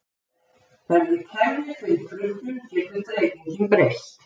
Verði kerfið fyrir truflun getur dreifingin breyst.